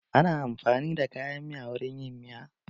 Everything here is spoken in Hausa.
Ana amfanin da kayan miya wurin yin miya.